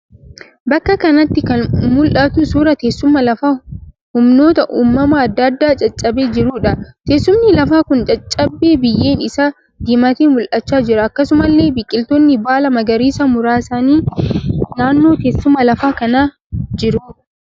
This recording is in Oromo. Bakka kanatti kan mul'atu suuraa teessuma lafaa humnoota uumamaa adda addaan caccabee jiruudha. Teessumni lafaa kun caccabee biyyeen isaa diimatee mul'achaa jira. Akkasumallee biqiloonni baala maqariisaa muraasni naannoo teessuma lafaa kana jiru.